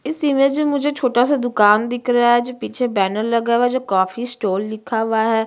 इस इमेज मे मुझे छोटा सा दुकान दिख रहा है जो पीछे बैनर लगा हुआ है जो कॉफी स्टाल लिखा हुआ है।